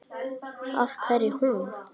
Af hverju hún?